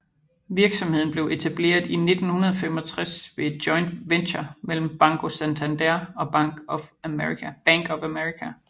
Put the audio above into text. Virksomheden blev etableret i 1965 ved et joint venture mellem Banco Santander og Bank of America